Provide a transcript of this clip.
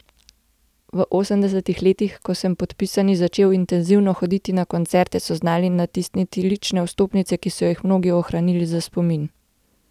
V osemdesetih letih, ko sem podpisani začel intenzivno hoditi na koncerte, so znali natisniti lične vstopnice, ki so jih mnogi ohranili za spomin.